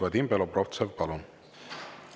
Vadim Belobrovtsev, palun!